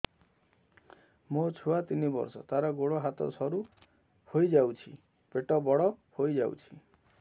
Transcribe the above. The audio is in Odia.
ମୋ ଛୁଆ ତିନି ବର୍ଷ ତାର ଗୋଡ ହାତ ସରୁ ହୋଇଯାଉଛି ପେଟ ବଡ ହୋଇ ଯାଉଛି